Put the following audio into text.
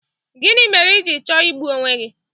Gịnị mere i ji chọọ igbu onwe gi?